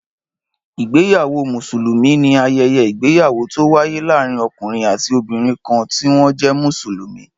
Ìgbéyàwó Mùsùlùmí ni ayẹyẹ ìgbéyàwó tó wáyé láàárín ọkùnrin àti obìnrin kan ti wọn jẹ Mùsùlùmí